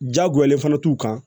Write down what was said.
Jagoyalen fana t'u kan